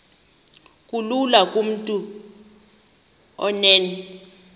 kulula kumntu onen